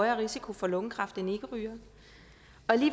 risiko for lungekræft end ikkerygere